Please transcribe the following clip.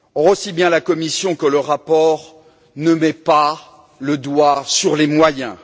Aussi bien la Commission que le rapport ne mettent pas le doigt sur les moyens.